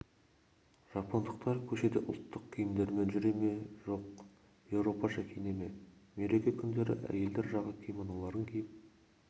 жапондықтар көшеде ұлттық киімдерімен жүре ме жоқ еуропаша киіне ме мереке күндері әйелдер жағы кимоноларын киіп